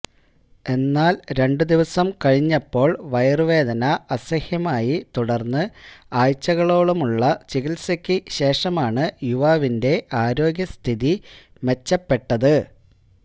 എന്നാല് രണ്ട് ദിവസം കഴിഞ്ഞപ്പോള് വയറ് വേദന അസഹ്യമായി തുടര്ന്ന് ആഴ്ചകളോളമുള്ള ചികിത്സയ്ക്ക് ശേഷമാണ് യുവാവിന്റെ ആരോഗ്യസ്ഥിതി മെച്ചപ്പെട്ടത്